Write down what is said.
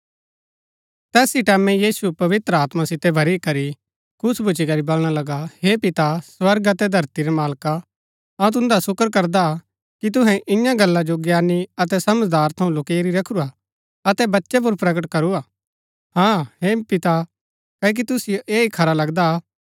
तैस ही टैमैं यीशु पवित्र आत्मा सितै भरी करी खुश भुच्‍ची करी वलणा लगु हे पिता स्वर्ग अतै धरती रै मालका अऊँ तुन्दा सुकर करदा कि तुहै इआं गला जो ज्ञानी अतै समझदारा थऊँ लुकैरी रखुरा अतै बच्चै पुर प्रकट करू हा हाँ हे पिता क्ओकि तुसिओ ऐह ही खरा लगदा